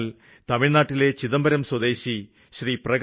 എന്നാല് തമിഴ്നാട്ടിലെ ചിദംബരം സ്വദേശി ശ്രീ